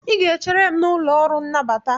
ị ga-echere m n'ụlọ ọrụ nnabata